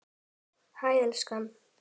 Hæ, elskan.